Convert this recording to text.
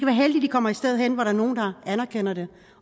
kommer sted hen hvor der er nogle der anerkender det